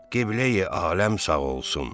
Qibləyi-aləm sağ olsun!